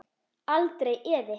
Aldrei efi.